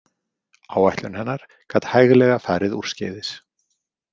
Áætlun hennar gat hæglega farið úrskeiðis.